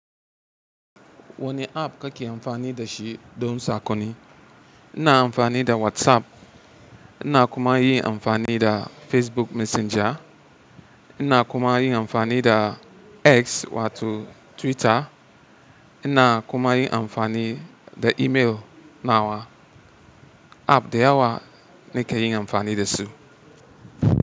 Wane app kake amfani da shi don sakonni? Ina amfani da WhatsApp, ina kuma yin amfani da Facebook Messenger. Ina kuma yin amfani da X wato Twitter. Ina kuma yin amfani da email. Nawa app da yawa nake yin amfani da su.